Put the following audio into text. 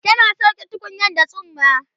tana sauke tukunyar da tsumma